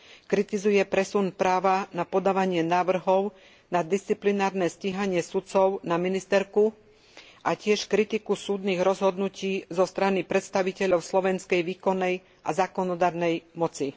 Kritizuje presun práva na podávanie návrhov na disciplinárne stíhanie sudcov na ministerku a tiež kritiku súdnych rozhodnutí zo strany predstaviteľov slovenskej výkonnej a zákonodarnej moci.